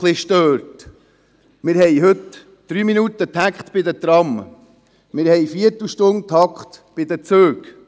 Heute gibt es Dreiminutentakte beim Tram und Viertelstundentakte bei den Zügen.